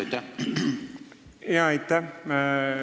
Aitäh!